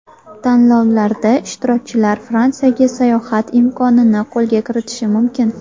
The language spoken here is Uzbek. Tanlovlarda ishtirokchilar Fransiyaga sayohat imkonini qo‘lga kiritishi mumkin.